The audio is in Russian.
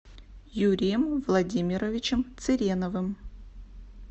юрием владимировичем цыреновым